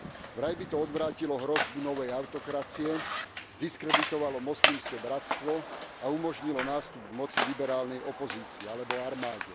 Vraj by to odvrátilo hrozbu novej autokracie, zdiskreditovalo Moslimské bratstvo a umožnilo nástup k moci liberálnej opozícii alebo armáde.